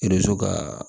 E be to kaa